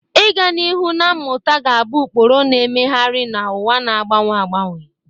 Ịga n'ihu na mmụta ga-abụ ụkpụrụ, na-emegharị na ụwa na-agbanwe agbanwe.